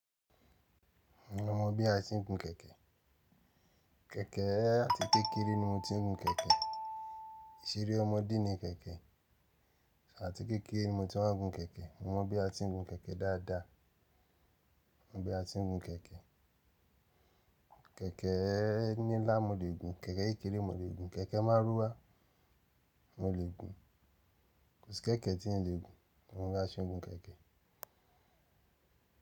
Mo mọ bí a ti ń gun kẹ̀kẹ́. Kẹ̀kẹ́ àti kékeré ni mo tí ń gun kẹ̀kẹ́. Ìṣeré ọmọdé ni kẹ̀kẹ́. Àti kékeré ni mo ti wá ń gun kẹ̀kẹ́. Mo mọ bí a ti ń gun kẹ̀kẹ́ dáadáa. Mo mọ bí a ti ń gun kẹ̀kẹ́. Kẹ̀kẹ́ ní ilá mo lè gùn, kẹ̀kẹ́ kékeré mo lè gùn, kẹ̀kẹ́ márúwá mo lè gùn. Kò sí kẹ̀kẹ́ tí n lè gùn mo má ṣe gun kẹ̀kẹ́.